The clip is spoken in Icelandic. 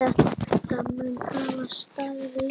Þetta mun hafa staðið lengi.